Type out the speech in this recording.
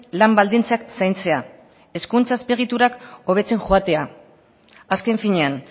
lan baldintzak zaintzea hezkuntza azpiegiturak hobetzen joatea azken finean